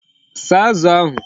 Saa Azu ahu